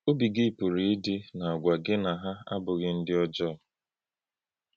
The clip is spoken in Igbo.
Ọ̀bí̄ gị pụ̀rụ̄ ídí̄ nā-āgwà gị nà hà abụ̀ghị̀ ǹdí̀ ọ́jọọ.